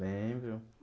Lembro.